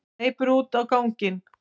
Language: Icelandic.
Hleypur út á ganginn.